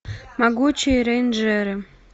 могучие рейнджеры